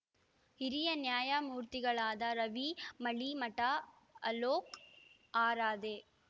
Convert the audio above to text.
ಹಿರಿಯ ನ್ಯಾಯಮೂರ್ತಿಗಳಾದ ರವಿ ಮಳೀಮಠ ಅಲೋಕ್‌ ಆರಾಧೆ